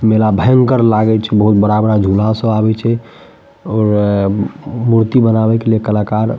मेला भयंकर लागे छे बहुत बड़ा-बड़ा झूला सब आवे छे और मूर्ति बनावे के लिए कलाकार --